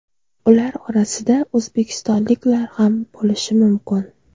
Ular orasida o‘zbekistonliklar ham bo‘lishi mumkin.